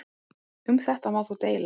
Um þetta má þó deila.